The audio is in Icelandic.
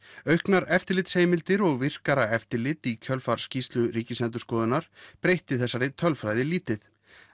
auknar eftirlitsheimildir og virkara eftirlit í kjölfar skýrslu Ríkisendurskoðunar breytti þessari tölfræði lítið